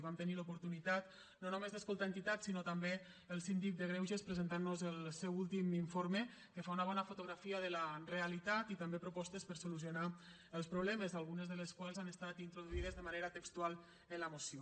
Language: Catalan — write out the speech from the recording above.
vam tenir l’oportunitat no només d’escoltar entitats sinó també el síndic de greuges presentant nos el seu últim informe que fa una bona fotografia de la realitat i també propostes per a solucionar els problemes algunes de les quals han estat introduïdes de manera textual en la moció